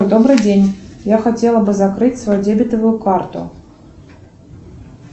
добрый день я хотела бы закрыть свою дебетовую карту